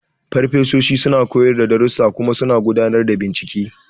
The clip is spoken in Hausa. Farfesoshi suna koyar da darussa kuma suna gudanar da bincike.